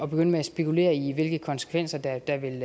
begynde at spekulere i hvilke konsekvenser der der vil